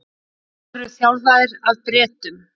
Voru þjálfaðir af Bretum